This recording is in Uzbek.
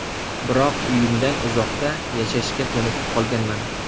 Biroq uyimdan uzoqda yashashga ko‘nikib qolganman.